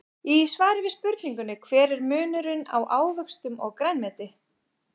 Í svari við spurningunni Hver er munurinn á ávöxtum og grænmeti?